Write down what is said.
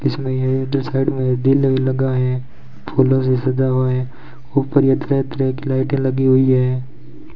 इसमें इधर साइड में दिल लगा है फूलों से सजा हुआ है ऊपर ये तरह तरह की लाइटें लगी हुई है।